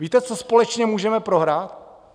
Víte, co společně můžeme prohrát?